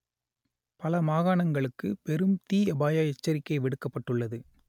பல மாகாணங்களுக்கு பெரும் தீ அபாய எச்சரிக்கை விடுக்கப்பட்டுள்ளது